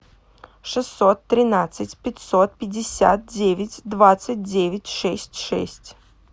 шестьсот тринадцать пятьсот пятьдесят девять двадцать девять шесть шесть